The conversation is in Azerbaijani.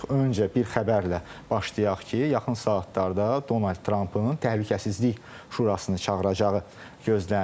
Öncə bir xəbərlə başlayaq ki, yaxın saatlarda Donald Trumpın Təhlükəsizlik Şurasını çağıracağı gözlənilir.